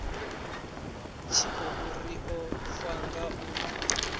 tshikhou ri o fanga u